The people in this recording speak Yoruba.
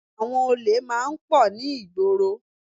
Àwọn olè máa ń pọ̀ ní ìgboro